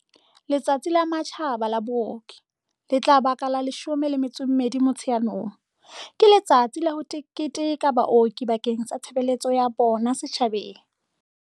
Letsatsi la Matjhaba la Booki, le tla ba ka la 12 Motsheanong, ke letsatsi la ho keteka baoki bakeng sa tshebeletso ya bona setjhabeng.